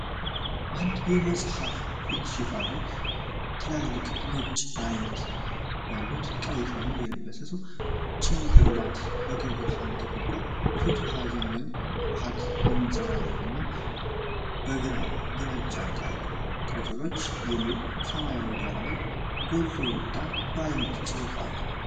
በአንድ የመጽሀፍ የፊት ሺፋን ላይ ትላልቅ ነጭ ዓይኖች ያሉት፣ ቀይ ሸሚዝ የለበሰ ሰው ጭንቅላት በቀይ ብርሃን ተከቧል። ፊቱ ሀዘን ወይም ፍርሃት የሚያንጸባርቅ እና፣ ከሥር "ግራጫ ቃጭሎች" የሚል የሰማያዊ ዳራ ላይ ጎልቶ የወጣ ባለነጭ ጽሑፍ አለ።